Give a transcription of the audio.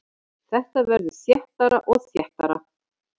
Þetta verður þéttara og þéttara.